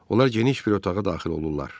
Onlar geniş bir otağa daxil olurlar.